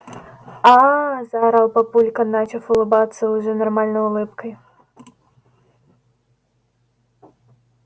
аа заорал папулька начав улыбаться уже нормальной улыбкой